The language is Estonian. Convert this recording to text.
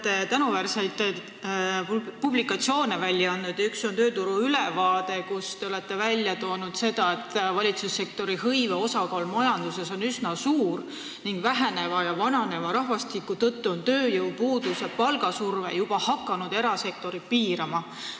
Te olete tänuväärseid publikatsioone välja andnud ja üks neist on tööturu ülevaade, kus te olete kirjeldanud seda, et valitsussektori hõive osakaal majanduses on üsna suur ning väheneva ja vananeva rahvastiku tõttu on tööjõupuudus ja palgasurve juba hakanud erasektorit piirama.